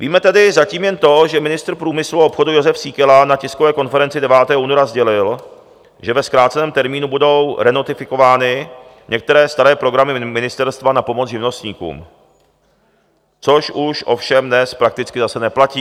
Víme tedy zatím jen to, že ministr průmyslu a obchodu Josef Síkela na tiskové konferenci 9. února sdělil, že ve zkráceném termínu budou renotifikovány některé staré programy ministerstva na pomoc živnostníkům, což už ovšem dnes prakticky zase neplatí.